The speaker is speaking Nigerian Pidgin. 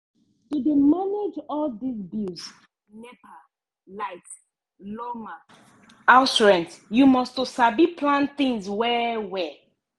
to dey manage all dis bills nepa light lawma house rent you must to sabi plan tins well-well.